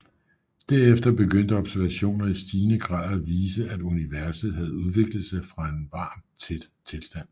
Derefter begyndte observationer i stigende grad at vise at universet havde udviklet sig fra en varm tæt tilstand